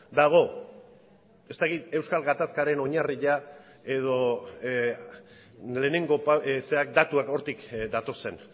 dago ez dakit euskal gatazkaren oinarria edo lehenengo datuak hortik datozen